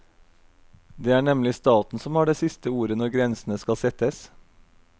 Det er nemlig staten som har det siste ordet når grensene skal settes.